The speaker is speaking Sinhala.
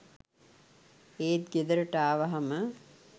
ඒත් ගෙදරට ආවාහම